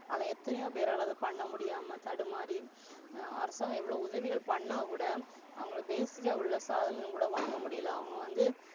ஆனா எத்தனையோபேர் அத பண்ண முடியாம தடுமாறி அடுத்தவ எவ்வளவோ உதவிகள் பண்ணாகூட அவங்க Basic உள்ள சாதனை கூட வாங்க முடியல அவங்க வந்து,